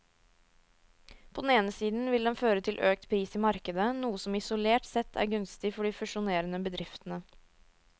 På den ene siden vil den føre til økt pris i markedet, noe som isolert sett er gunstig for de fusjonerende bedriftene.